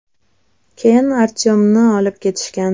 Keyin Artyomni olib ketishgan.